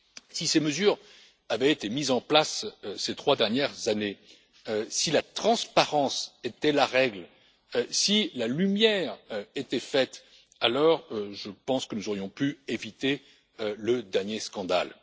Si ces mesures avaient été mises en place ces trois dernières années, si la transparence était la règle, si la lumière était faite, alors je pense que nous aurions pu éviter le dernier scandale.